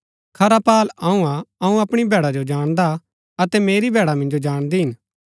खरा पाअल अऊँ हा अऊँ अपणी भैडा जो जाणदा अतै मेरी भैडा मिन्जो जाणदी हिन